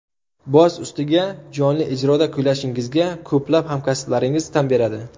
Boz ustiga, jonli ijroda kuylashingizga ko‘plab hamkasblaringiz tan beradi.